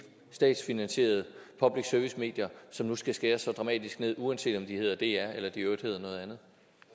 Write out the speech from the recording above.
statsfinansierede public service medier som nu skal skæres så dramatisk ned uanset om de hedder dr eller i øvrigt hedder noget andet